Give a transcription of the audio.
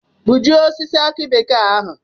Gbujie osisi aki bekee ahu!